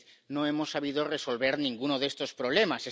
No hemos sabido resolver ninguno de estos problemas.